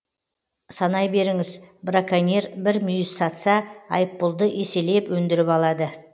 санай беріңіз браконьер бір мүйіз сатса айыппұлды еселеп өндіріп алады